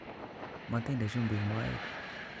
Motinde chumbik moet